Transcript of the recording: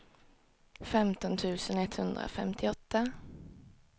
femton tusen etthundrafemtioåtta